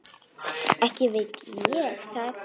Ekki veit ég það.